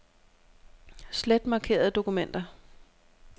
Slet markerede dokumenter.